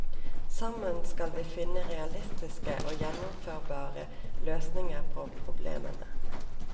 Sammen skal vi finne realistiske og gjennomførbare løsninger på problemene.